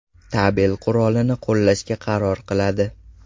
tabel qurolini qo‘llashga qaror qiladi.